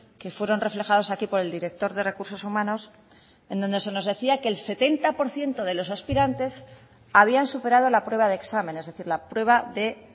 que fueron reflejados aquí por el director de recursos humanos en donde se nos decía que el setenta por ciento de los aspirantes habían superado la prueba de examen es decir la prueba de